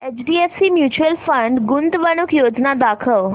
HDFC mutual fund गुंतवणूक योजना दाखव